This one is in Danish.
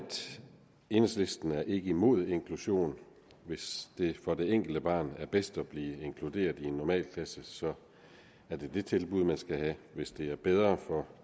enhedslisten ikke er imod inklusion hvis det for det enkelte barn er bedst at blive inkluderet i en normalklasse er det det tilbud man skal have hvis det er bedre for